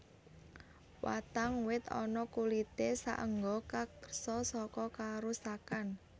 Watang wit ana kulité saéngga karksa saka karusakan